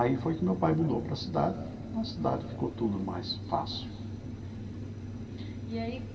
Aí foi que meu pai mudou para a cidade, na cidade ficou tudo mais fácil. Uhum e aí.